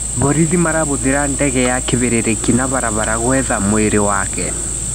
Borithi marahũthĩra ndege ya kĩbĩrĩrĩki na barabara gwetha mwĩrĩ wake.